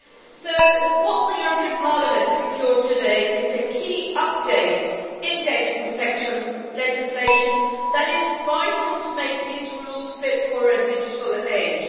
So what the European Parliament secured today is a key update in data protection legislation that is vital to make these rules fit for a digital age.